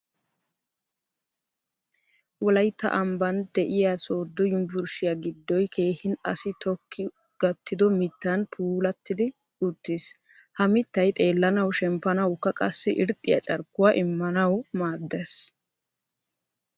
Wolaytta amban deiya sodo yunvurshshiya giddoy keehin assi tokki gattido miittan puulatidi uttiis. Ha miittay xeellanawu, shemppanawukka qasai irxxiya carkkuwa immanawu maaddees.